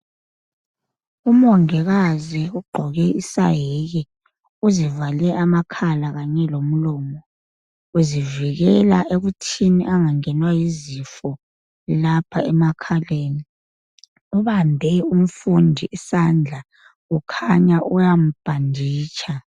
Umongikazi ugqoke isayeke, uzivale amakhala kanye lomlomo. Uzivikela ekuthini angangenwa yizifo lapha emakhaleni. Ubambe umfundi isandla, kukhanya uyamubhanditsha.